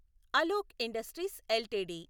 Alok Industries LTD